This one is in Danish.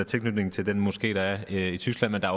tilknytningen til den moské der er i tyskland men der